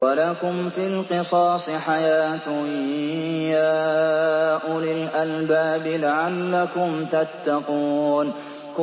وَلَكُمْ فِي الْقِصَاصِ حَيَاةٌ يَا أُولِي الْأَلْبَابِ لَعَلَّكُمْ تَتَّقُونَ